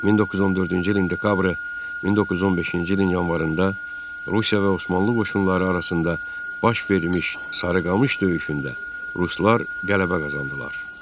1914-cü ilin dekabrı 1915-ci ilin yanvarında Rusiya və Osmanlı qoşunları arasında baş vermiş Sarıqamış döyüşündə ruslar qələbə qazandılar.